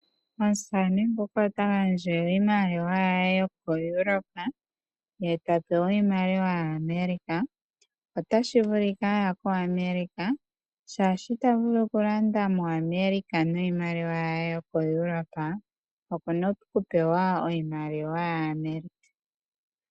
Omusamane ngoka ota gandja iimaliwa yaye yokoEurope ye ta pewa iimaliwa ya America. Otashi vulika aya ko America, shaashi ita vulu okulanda moAmerica niimaliwa yawo yo koEurope, okuna okupewa iimaliwa ya America.